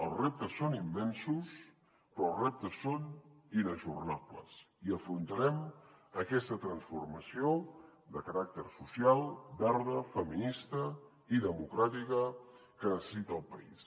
els reptes són immensos però els reptes són inajornables i afrontarem aquesta transformació de caràcter social verda feminista i democràtica que necessita el país